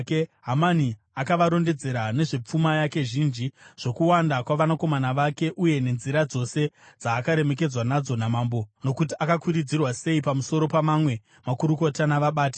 Hamani akavarondedzera nezvepfuma yake zhinji, zvokuwanda kwavanakomana vake, uye nenzira dzose dzaakaremekedzwa nadzo namambo nokuti akakwidziridzwa sei pamusoro pamamwe makurukota navabati.